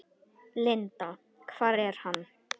Linda: Hvar er hann?